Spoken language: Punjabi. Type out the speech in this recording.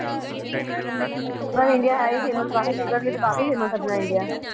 ਆਪਣਾ ਇੰਡੀਆ ਹੈ ਹੀ famous ਆਪਣਾ ਇੰਡੀਆ ਤੇ ਹੈ ਹੀ famous ਕਾਫੀ ਚੀਜ਼ਾਂ ਲਈ ਕਾਫੀ famous ਹੈ ਆਪਣਾ ਇੰਡੀਆ